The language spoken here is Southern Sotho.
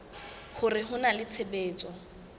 hore ho na le tshebetso